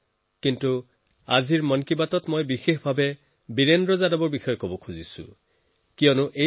কিন্তু আজি মন কী বাতত মই বীৰেন্দ্ৰ জীক বিশেষভাৱে প্ৰশংসা এই কাৰণেই কৰিছো কিয়নো তেওঁৰ প্ৰয়াস পৃথক এটা নতুন দিশ দেখুৱাইছে